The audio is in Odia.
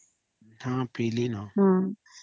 ହଁ ପିଇଲି ନ